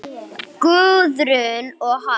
Guðrún og hann.